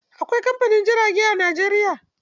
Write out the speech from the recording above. Akwai kamfanin jirage a Najeriya.